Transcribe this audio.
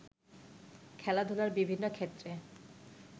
খেলাধুলার বিভিন্ন ক্ষেত্রে